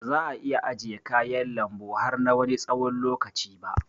Baza ' a iya ajiye kayan lanbu har na Wani tsawon lokaci ba.